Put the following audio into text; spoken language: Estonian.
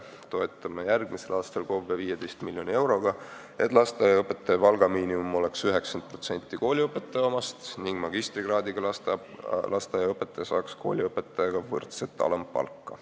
Toetame järgmisel aastal KOV-e 15 miljoni euroga, et lasteaiaõpetaja miinimumpalk oleks 90% kooliõpetaja omast ning magistrikraadiga lasteaiaõpetaja saaks kooliõpetaja omaga võrdset alampalka.